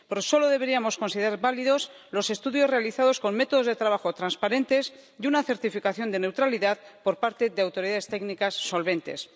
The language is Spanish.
Solo deberíamos considerar válidos los estudios realizados con métodos de trabajo transparentes y una certificación de neutralidad por parte de autoridades técnicas solventes.